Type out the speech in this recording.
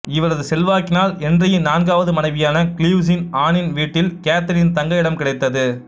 இவரது செல்வாக்கினால் என்றியின் நான்காவது மனைவியான கிளீவ்சின் ஆனின் வீட்டில் கேத்தரீன் தங்க இடம் கிடைத்தது